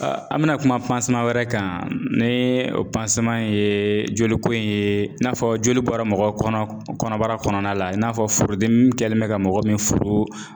An bɛna kuma wɛrɛ kan ni o ye joliko in ye i n'a fɔ joli bɔra mɔgɔ kɔnɔ kɔnɔbara kɔnɔna la i n'a fɔ furudimi kɛlen bɛ ka mɔgɔ min furu.